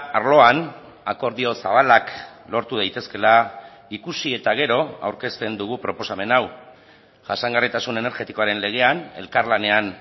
arloan akordio zabalak lortu daitezkela ikusi eta gero aurkezten dugu proposamen hau jasangarritasun energetikoaren legean elkarlanean